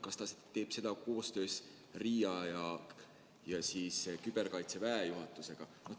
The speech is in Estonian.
Kas ta teeb seda koostöös RIA ja küberväejuhatusega?